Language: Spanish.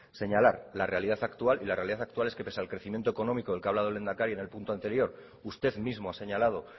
señalar la realidad actual y la realidad actual es que pese al crecimiento económico del que ha hablado el lehendakari en el punto anterior usted mismo ha señalado